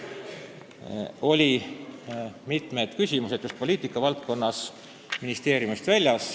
Sellel ajal olid mitmed poliitikavaldkonna kujundamise küsimused ministeeriumist väljas.